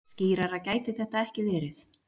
Skýrara gæti þetta ekki verið.